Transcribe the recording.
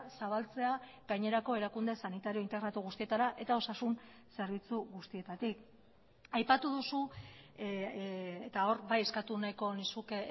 zabaltzea gainerako erakunde sanitario integratu guztietara eta osasun zerbitzu guztietatik aipatu duzu eta hor bai eskatu nahiko nizuke